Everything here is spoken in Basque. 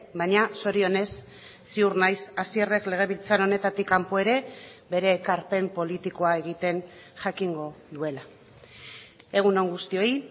baina zorionez ziur naiz hasierrek legebiltzar honetatik kanpo ere bere ekarpen politikoa egiten jakingo duela egun on guztioi